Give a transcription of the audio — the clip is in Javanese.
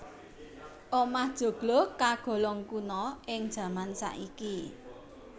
Omah joglo kagolong kuna ing jaman saiki